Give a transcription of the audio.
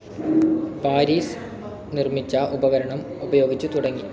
Paris നിർമിച്ച ഉപകരണം ഉപയോഗിച്ചുതുടങ്ങി.